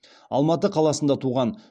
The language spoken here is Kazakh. алматы қаласында туған